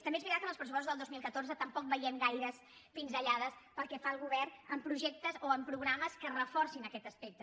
també és veritat que en els pressupostos del dos mil catorze tampoc veiem gaires pinzellades pel que fa al govern en projectes o en programes que reforcin aquests aspectes